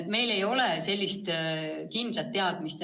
Meil ei ole sellist kindlat teadmist.